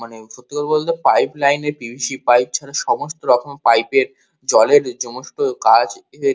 মানে সত্যি কথা বলতে পাইপ লাইন এ পি.ভি.সি. পাইপ ছাড়া সমস্ত রকম পাইপ এর জলের যমস্ত কাজ এর--